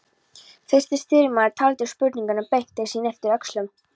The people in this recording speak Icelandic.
Fyrsti stýrimaður taldi spurningunni beint til sín og yppti öxlum.